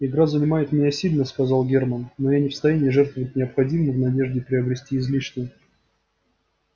игра занимает меня сильно сказал германн но я не в состоянии жертвовать необходимым в надежде приобрести излишнее